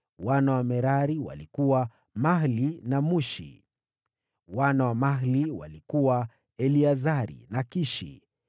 Wana wa Merari walikuwa: Mahli na Mushi. Wana wa Mahli walikuwa: Eleazari na Kishi.